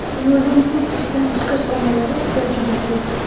Yo‘lning tez ishdan chiqish omillari esa juda ko‘p.